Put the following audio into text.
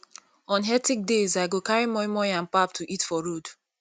on hectic days i go carry moi moi and pap to eat for road